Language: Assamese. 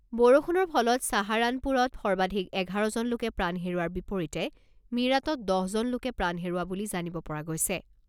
বৰষুণৰ ফলত চাহাৰানপুৰত সৰ্বাধিক এঘাৰজন লোকে প্ৰাণ হেৰুওৱাৰ বিপৰীতে মীৰাটত দহজন লোকে প্ৰাণ হেৰুওৱা বুলি জানিব পৰা গৈছে।